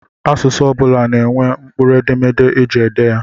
Asụsụ ọ bụla na-enwe mkpụrụ edemede eji ede ya.